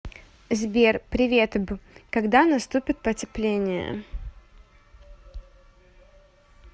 сбер приветб когда наступит потепление